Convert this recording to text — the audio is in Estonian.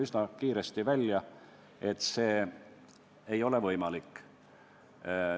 Üsna kiiresti tuli välja, et see ei ole võimalik.